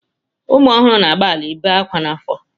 Ụmụ ọhụrụ na-agbalị ị be ákwá n'afọ.